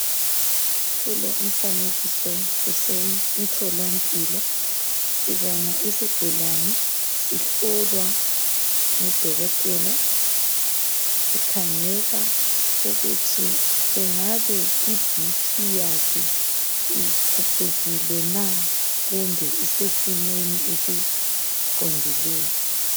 Kulo umfanekiso kusemtholampilo sibona isigulane sihlolwa ngudokotela ekhangela ukuthi kungabe iBP yakhe ikhuphukile na kumbe isesimeni esiqondileyo.